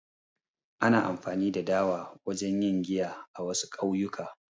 Ana amfani da dawa wajen yin giya a, wasu ƙauyuka